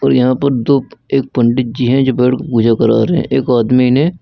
और यहां पर दो एक पंडित जी हैं जो पेड़ पूजा करा रहे हैं। एक आदमी ने--